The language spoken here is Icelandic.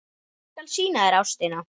Ég skal sýna þér Ástina.